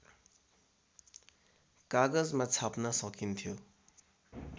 कागजमा छाप्न सकिन्थ्यो